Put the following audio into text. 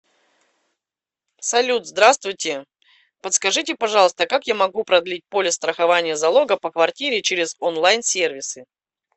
салют здравствуйте подскажите пожалуйста как я могу продлить полис страхования залога по квартире через он лайн сервисы